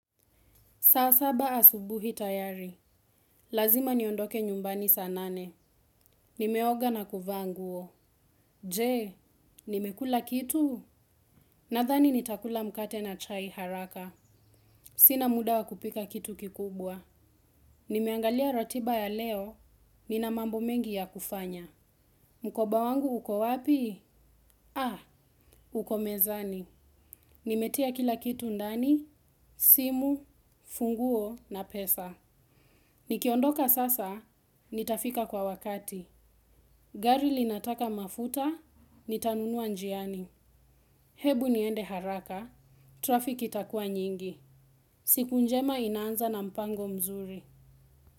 Saa saba asubuhi tayari. Lazima niondoke nyumbani saa nane. Nimeoga na kuvaa nguo. Je, nimekula kitu? Nadhani nitakula mkate na chai haraka. Sina muda wa kupika kitu kikubwa. Nimeangalia ratiba ya leo. Nina mambo mengi ya kufanya. Mkoba wangu uko wapi? Uko mezani. Nimetia kila kitu ndani, simu, funguo na pesa. Nikiondoka sasa, nitafika kwa wakati. Gari linataka mafuta, nitanunua njiani. Hebu niende haraka, trafiki itakua nyingi. Siku njema inaanza na mpango mzuri.